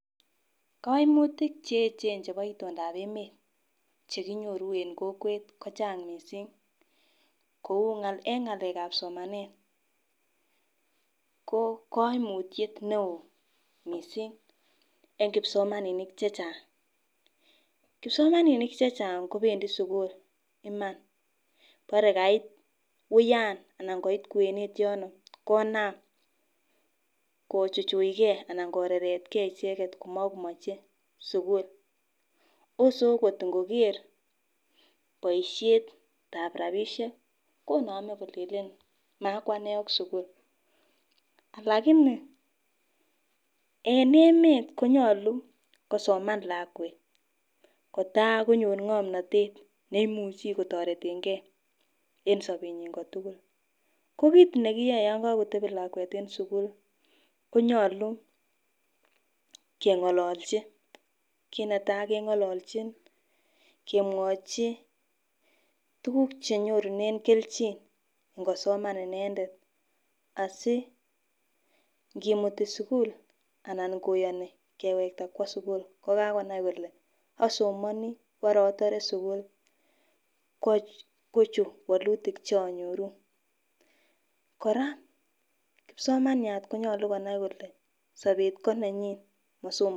Koimutik cheyechen chebo itondap emet chekinyoru en kokwet ko Chang missing kou en ngalekab somanet ko koimutyet neo missing en kipsomaninik chechang, kipsomaninik chechang kobendii sukul Iman bore kait wuyan anan koit kwenet yono konam kochuchugee anan kkreretgee icheket komokomoche sukul, ose okot Ikoker boishetab rabishek konome Killeen makwane ak sukul. Lakini en emet konyolu kosoman lakwet kotakonyor ngomnotet neimuchi kotoretengee en sobenyin kotukul. Ko kit nekiyoe yon kokotepi lakwet en sukili konyolu kengololchi kit netai kengololchi kemwochi tukuk che yorunen keljin ngosoman inendet asi nkimuti sukul ana koyoni keweta kwo sukul ko kakonaimkole osomoni bore otore sukul kochuu wolutik cheonyoru. Koraa kipsomaniat konyolu konai kole sobet ko nenyin mosom.